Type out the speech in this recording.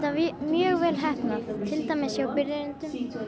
mjög vel heppnað til dæmis hjá byrjendum